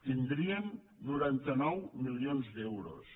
tindrien noranta nou milions d’euros